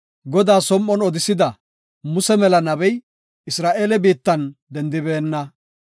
Godaa som7on odisida, Muse mela nabey, Isra7eele biittan dendibeenna.